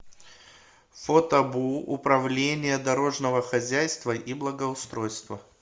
фото бу управление дорожного хозяйства и благоустройства